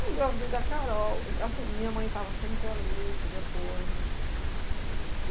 Aí engravidei da Carol, assim, minha mãe estava sempre ali, tive apoio.